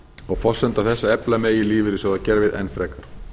og forsenda þess að efla megi lífeyrissjóðakerfið enn frekar